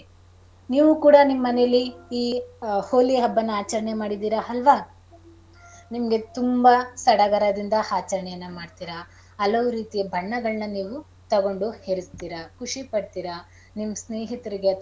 ನೀವು ಕೂಡ ನಿಮ್ಮನೇಲಿ ಈ ಹೋಳಿ ಹಬ್ಬನಾ ಆಚರಣೆ ಮಾಡಿದೀರ ಅಲ್ವಾ. ನಿಮ್ಗೆ ತುಂಬಾ ಸಡಗರದಿಂದ ಆಚರಣೆಯನ್ನ ಮಾಡ್ತೀರಾ ಹಲವು ರೀತಿಯ ಬಣ್ಣಗಳ್ನ ನೀವು ತೊಗೊಂಡು ಎರ್ಚ್ತೀರ ಖುಷಿ ಪಡ್ತೀರಾ ನಿಮ್ ಸ್ನೇಹಿತರಿಗೆ ಅಥ್ವ,